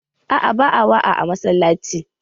A'a, ba'a waa a masallaci.